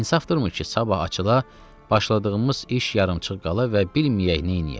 İnsafdırmı ki, sabah açıla, başladığımız iş yarımçıq qala və bilməyək neyləyək.